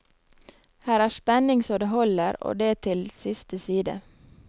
Her er spenning så det holder, og det til siste side.